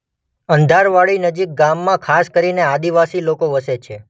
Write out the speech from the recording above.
અંધારવાડીનજીક ગામમાં ખાસ કરીને આદિવાસી લોકો વસે છે.